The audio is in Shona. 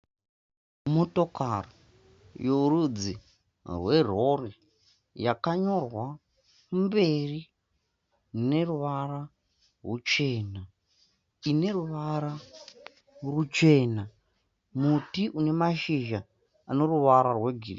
Motokari yorudzi werori yakanyorwa mberi neruvara rwuchena ine ruvara rwuchena. Muti une mashizha ane ruvara rwegreen.